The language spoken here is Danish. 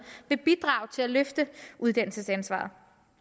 vil bidrage til at løfte uddannelsesansvaret